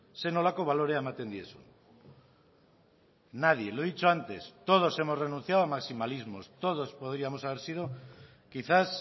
zer nolako balorea ematen diezun nadie lo he dicho antes todos hemos renunciado a maximalismos todos podríamos haber sido quizás